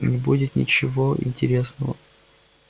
не будет ничего интересного